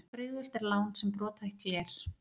Brigðult er lán sem brothætt gler.